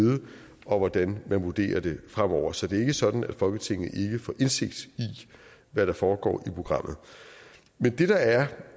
og hvordan man vurderer det fremover så det er ikke sådan at folketinget ikke får indsigt i hvad der foregår i programmet men det der er